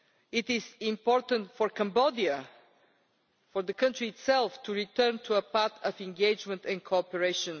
It is important for Cambodia, for the country itself, to return to a path of engagement and cooperation.